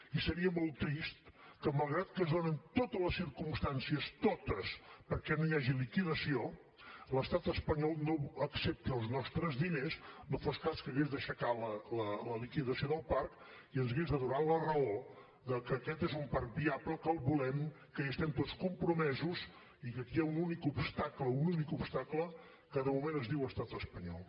i seria molt trist que malgrat que es donen totes les circumstàncies totes perquè no hi hagi liquidació l’estat espanyol no accepti els nostres diners no fos cas que hagués d’aixecar la liquidació del parc i ens hagués de donar la raó de que aquest és un parc viable que el volem que hi estem tots compromesos i que aquí hi ha un únic obstacle un únic obstacle que de moment es diu estat espanyol